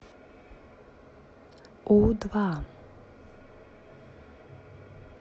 у два